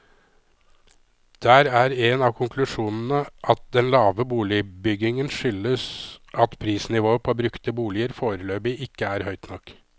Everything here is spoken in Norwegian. Der er en av konklusjonene at den lave boligbyggingen skyldes at prisnivået på brukte boliger foreløpig ikke er høyt nok.